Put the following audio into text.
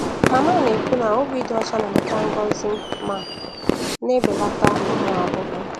Mama na-ekwu na ubi dị ọcha na-adọta ngọzi ma na-ebelata ụmụ ahụhụ.